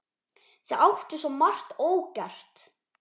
Þið áttuð svo margt ógert.